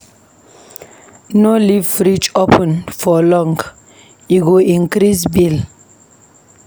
No leave frideg open for long, e go increase bill.